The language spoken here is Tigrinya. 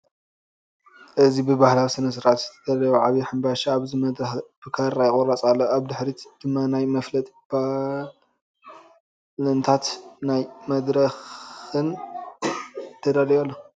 እዚ ብባህላዊ ስነ-ስርዓት ዝተዳለወ ዓቢ ሕንባሻ ኣብ መድረኽ ብካራ ይቑረጽ ኣሎ። ኣብ ድሕሪት ድማ ናይ መፋለጢ ፓነላትን ናይ መደረ መድረኽን ተዳልዩ ኣሎ።